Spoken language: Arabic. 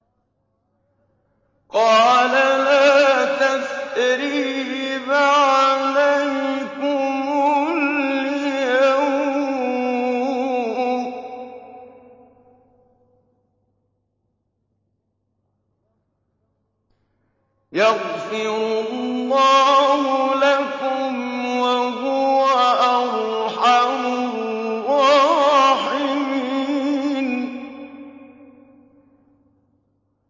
قَالَ لَا تَثْرِيبَ عَلَيْكُمُ الْيَوْمَ ۖ يَغْفِرُ اللَّهُ لَكُمْ ۖ وَهُوَ أَرْحَمُ الرَّاحِمِينَ